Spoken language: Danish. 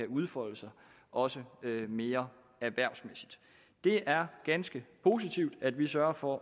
udfolde sig også mere erhvervsmæssigt det er ganske positivt at vi sørger for